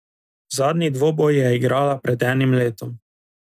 Zadnji dvoboj je igrala pred enim letom.